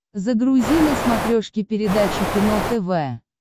загрузи на смотрешке передачу кино тв